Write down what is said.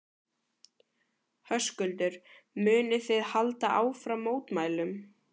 Höskuldur: Munið þið halda áfram mótmælum?